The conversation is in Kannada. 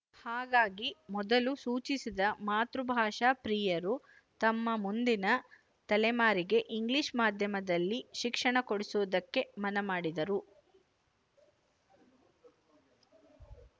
ಹಾಗಾಗಿ ಮೊದಲು ಸೂಚಿಸಿದ ಮಾತೃಭಾಷಾಪ್ರಿಯರು ತಮ್ಮ ಮುಂದಿನ ತಲೆಮಾರಿಗೆ ಇಂಗ್ಲಿಶ ಮಾಧ್ಯಮದಲ್ಲಿ ಶಿಕ್ಷಣ ಕೊಡಿಸುವುದಕ್ಕೆ ಮನಮಾಡಿದರು